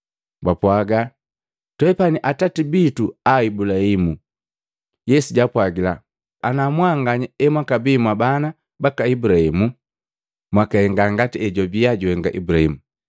Bapwaga, “Twepani atati bitu a Ibulahimu.” Yesu jaapwagila, “Ana mmbanganya emwakabii mwabana baka Ibulahimu, mwakahenga ngati ejwabiya juhenga Ibulahimu.